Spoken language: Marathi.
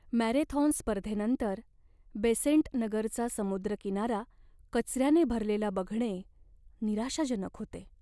मॅरेथॉन स्पर्धेनंतर बेसेंट नगरचा समुद्रकिनारा कचऱ्याने भरलेला बघणे निराशाजनक होते.